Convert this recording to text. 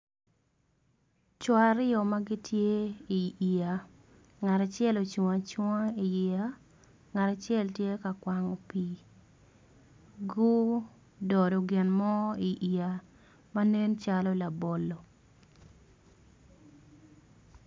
Co aryo ma gitye i yeya ngat acel ocung acunga i iyeya ngat acel tye ka kwango pii gudodo gin mo i yeya manen calo labolo